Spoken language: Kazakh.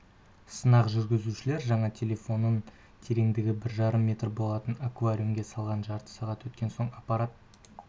сынақ жүргізушілер жаңа телефонын тереңдігі бір жарым метр болатын акваруимге салған жарты сағат өткен соң аппарат